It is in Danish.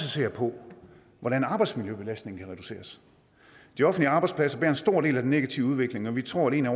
se på hvordan arbejdsmiljøbelastningen kan reduceres de offentlige arbejdspladser står for en stor del af den negative udvikling og vi tror at en